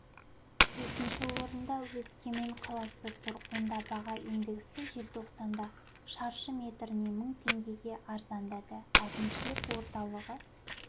төртінші орында өскемен қаласы тұр онда баға индексі желтоқсанда шаршы метріне мың теңгеге арзандады әкімшілік орталығы